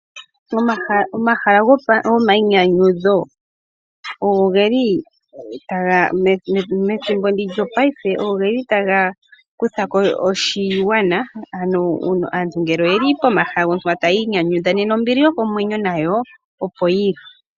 Omahala gomainyanyudho ogo geli taga kutha ko oshigwana methimbo ndi lyopaife, ano aantu ngele oyeli pomahala tayi nyanyudha nena ombili yokomwenyo nayo opo yili.